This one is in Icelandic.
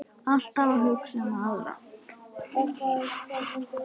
Alltaf að hugsa um aðra.